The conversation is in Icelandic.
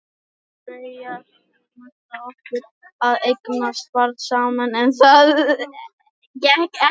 Við Freyja höfðum ætlað okkur að eignast barn saman, en það gekk ekki.